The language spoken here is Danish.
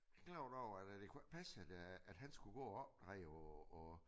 Tænkte godt over at det kunne ikke passe at øh at han skulle gå og opdrage og og